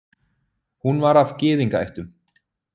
Hún var af gyðingaættum.